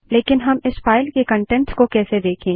लेकिन हम इस फाइल के कंटेंट्स को कैसे देखें